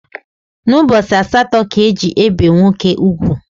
N’ụbọchị asaatọ ka e ji ebe nwoke ụgwụ